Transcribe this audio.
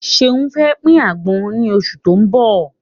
Ṣeyi fẹ́ pin àgbọn ni oṣù tó ń bọ̀.